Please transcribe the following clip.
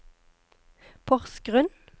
Porsgrunn